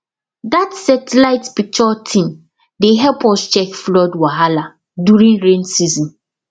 that satellite picture thing dey help us check flood wahala during rain season